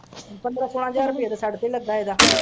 ਪੰਦਰਾਂ ਹਜ਼ਾਰ ਤੇ ਤੜਕੇ ਲੱਗਾ ਇਹਦਾ।